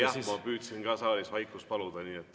Oli jah, ma püüdsin ka saalis vaikust paluda.